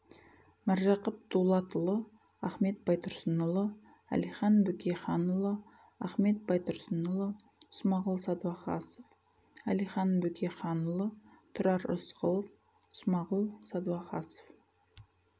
міржақып дұлатұлы ахмет байтурсынұлы әлихан бөкейханұлы ахмет байтурсынұлы смағұл садуакасов әлихан бөкейханұлы тұрар рысқұлов смағұл садуакасов